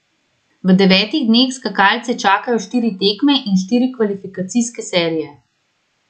V devetih dneh skakalce čakajo štiri tekme in štiri kvalifikacijske serije.